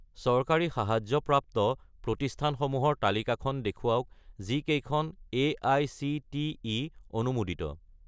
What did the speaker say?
চৰকাৰী সাহায্যপ্ৰাপ্ত প্ৰতিষ্ঠানসমূহৰ তালিকাখন দেখুৱাওক যিকেইখন এআইচিটিই অনুমোদিত